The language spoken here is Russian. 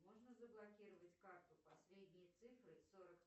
можно заблокировать карту последние цифры сорок